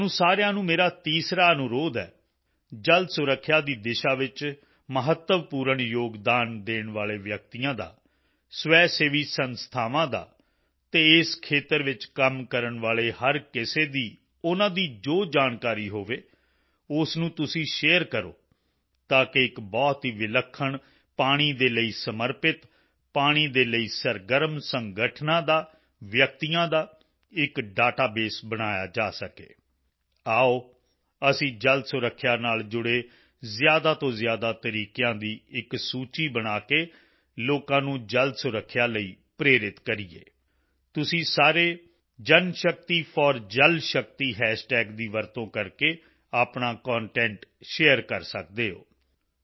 ਤੁਹਾਨੂੰ ਸਾਰਿਆਂ ਨੂੰ ਮੇਰਾ ਤੀਸਰਾ ਅਨੁਰੋਧ ਹੈ ਜਲ ਸੁਰੱਖਿਆ ਸੰਭਾਲ਼ ਦੀ ਦਿਸ਼ਾ ਵਿੱਚ ਮਹੱਤਵਪੂਰਨ ਯੋਗਦਾਨ ਦੇਣ ਵਾਲੇ ਵਿਅਕਤੀਆਂ ਦਾ ਸਵੈਸੇਵੀ ਸੰਸਥਾਵਾਂ ਦਾ ਅਤੇ ਇਸ ਖੇਤਰ ਵਿੱਚ ਕੰਮ ਕਰਨ ਵਾਲੇ ਹਰ ਕਿਸੇ ਦੀ ਉਨ੍ਹਾਂ ਦੀ ਜੋ ਜਾਣਕਾਰੀ ਹੋਵੇ ਉਸ ਨੂੰ ਤੁਸੀਂ ਸ਼ੇਅਰ ਕਰੋ ਤਾਂ ਕਿ ਇੱਕ ਬਹੁਤ ਹੀ ਵਿਲੱਖਣ ਪਾਣੀ ਦੇ ਲਈ ਸਮਰਪਿਤ ਪਾਣੀ ਦੇ ਲਈ ਸਰਗਰਮ ਸੰਗਠਨਾਂ ਦਾ ਵਿਅਕਤੀਆਂ ਦਾ ਇੱਕ ਡੇਟਾਬੇਸ ਬਣਾਇਆ ਜਾ ਸਕੇ ਆਓ ਅਸੀਂ ਜਲ ਸੁਰੱਖਿਆ ਸੰਭਾਲ਼ ਨਾਲ ਜੁੜੇ ਜ਼ਿਆਦਾ ਤੋਂ ਜ਼ਿਆਦਾ ਤਰੀਕਿਆਂ ਦੀ ਇੱਕ ਸੂਚੀ ਬਣਾ ਕੇ ਲੋਕਾਂ ਨੂੰ ਜਲ ਸੁਰੱਖਿਆ ਸੰਭਾਲ਼ ਲਈ ਪ੍ਰੇਰਿਤ ਕਰੀਏ ਤੁਸੀਂ ਸਾਰੇ Janshakti4Jalshakti ਹੈਸ਼ਟੈਗ ਦੀ ਵਰਤੋਂ ਕਰਕੇ ਆਪਣਾ ਕੰਟੈਂਟ ਸ਼ੇਅਰ ਕਰ ਸਕਦੇ ਹੋ